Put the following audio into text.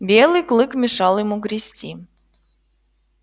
белый клык мешал ему грести